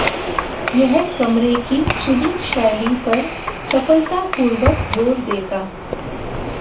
यह कमरे की चुनी शैली पर सफलतापूर्वक जोर देगा